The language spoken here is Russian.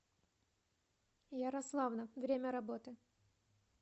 ярославна время работы